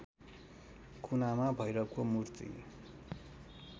कुनामा भैरवको मूर्ति